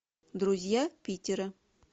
друзья питера